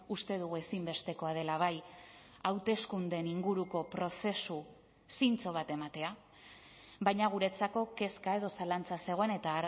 uste dugu ezinbestekoa dela bai hauteskundeen inguruko prozesu zintzo bat ematea baina guretzako kezka edo zalantza zegoen eta